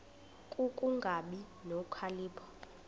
ku kungabi nokhalipho